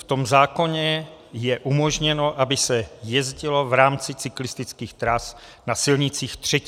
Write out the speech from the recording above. V tom zákonu je umožněno, aby se jezdilo v rámci cyklistických tras na silnicích III. třídy.